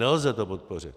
Nelze to podpořit!